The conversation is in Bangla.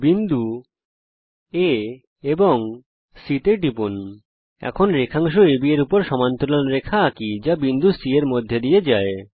বিন্দু A এবং বিন্দু C টিপুন চলুন এখন রেখাংশ AB এর উপর একটি সমান্তরাল রেখা অঙ্কন করি যা বিন্দু C এর মধ্যে দিয়ে যায়